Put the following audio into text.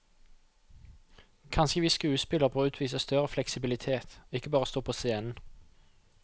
Kanskje vi skuespillere bør utvise større fleksibilitet, ikke bare stå på scenen.